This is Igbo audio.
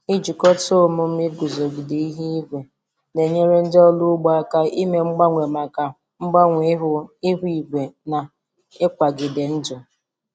Ijikọta omume iguzogide ihu igwe na-enyere ndị ọrụ ugbo aka ime mgbanwe maka mgbanwe ihu ihu igwe na ịkwagide ndụ.